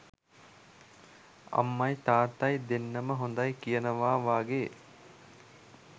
අම්මයි තාත්තයි දෙන්නම හොඳයි කියනවා වගේ.